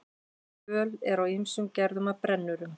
Völ er á ýmsum gerðum af brennurum.